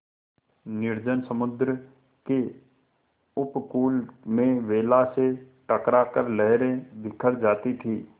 निर्जन समुद्र के उपकूल में वेला से टकरा कर लहरें बिखर जाती थीं